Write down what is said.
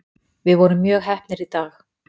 Við vorum mjög heppnir í dag.